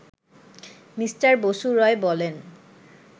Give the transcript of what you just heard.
mister Basu Roy বলেন